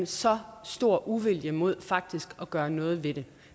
så stor en uvilje mod faktisk at gøre noget ved det